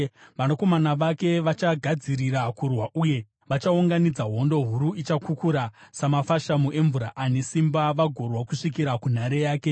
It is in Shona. Vanakomana vake vachagadzirira kurwa uye vachaunganidza hondo huru, ichakukura samafashamu emvura ane simba vagorwa kusvikira kunhare yake.